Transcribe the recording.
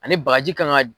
Ani bagaji kan ka